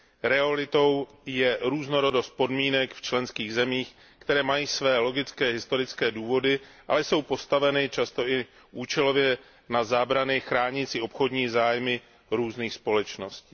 Realitou je různorodost podmínek v členských zemích, které mají své logické historické důvody, ale jsou postaveny často i účelové zábrany chránící obchodní zájmy různých společností.